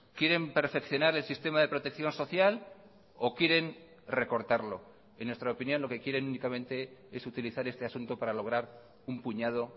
quieren perfeccionar el sistema de protección social o quieren recortarlo en nuestra opinión lo que quieren únicamente es utilizar este asunto para lograr un puñado